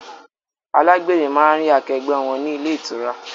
Alágbèrè máa ń rí akẹgbẹ́ wọn ni ilé ìtura